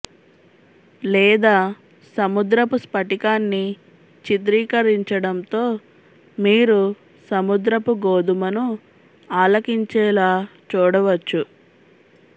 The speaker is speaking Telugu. లేదా సముద్రపు స్ఫటికాన్ని చిత్రీకరించడంతో మీరు సముద్రపు గోధుమను ఆలకించేలా చూడవచ్చు